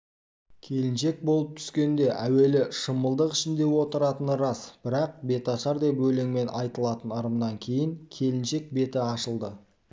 келіншек болып түскенде әуелі шымылдық ішінде отыратыны рас бірақ беташар деп өлеңмен айтылатын ырымынан кейін келіншек беті ашылды